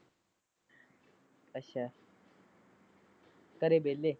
ਅੱਛਾ ਘਰੇ ਵੇਲੇ?